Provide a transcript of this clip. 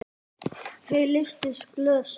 Þau lyftu glösum.